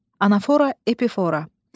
Anafora, epifora.